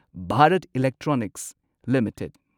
Bharat Electronics limited